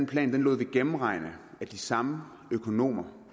plan lod vi gennemregne af de samme økonomer